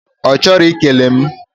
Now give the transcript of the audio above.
Ochoro ikele m